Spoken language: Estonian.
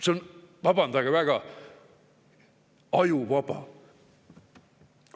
See on, vabandage väga, ajuvaba!